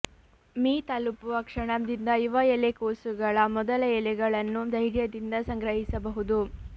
me ತಲುಪುವ ಕ್ಷಣದಿಂದ ಯುವ ಎಲೆಕೋಸುಗಳ ಮೊದಲ ಎಲೆಗಳನ್ನು ಧೈರ್ಯದಿಂದ ಸಂಗ್ರಹಿಸಬಹುದು